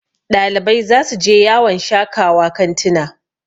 Ɗalibai za su je yawon shakawa kantina